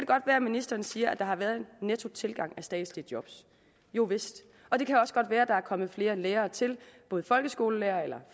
godt være at ministeren siger at der har været en nettotilgang af statslige jobs jovist og det kan også godt være at der er kommet flere lærere til både folkeskole og